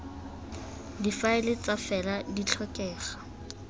difaele fa fela di tlhokega